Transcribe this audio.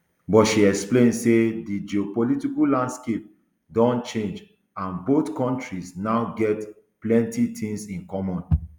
but she explain say di geopolitical landscape don change and both kontris now get plenti tins in common